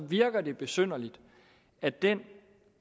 virker det besynderligt at den